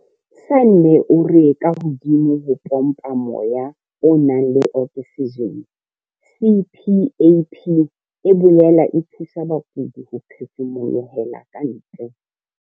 Sanne o re kahodimo ho ho pompa moya o nang le oksijene, CPAP e boela e thusa bakudi ho phefumolohela ka ntle.